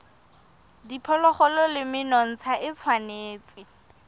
diphologolo le menontsha e tshwanetse